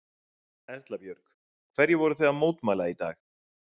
Erla Björg: Hverju voru þið að mótmæla í dag?